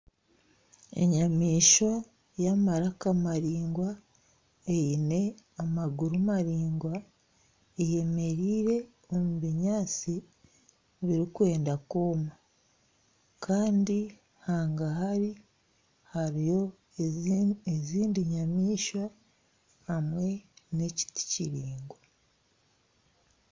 Enyamaishwa y'amaraka maraingwa eine amaguru maraingwa eyemereire omu binyantsi birikwenda kwoma kandi hangahari hariyo ezindi nyamaishwa hamwe na ekiti kiraingwa.